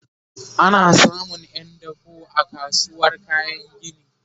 ana samun Yan dako a kasuwar kayan gini